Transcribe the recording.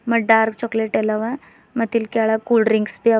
ಮತ್ dark chocolate ಎಲ್ಲವ ಮತ್ತಿಲ್ ಕೆಳಗ್ ಕೂಲ್ ಡ್ರಿಂಕ್ಸ್ ಬಿ ಅವ.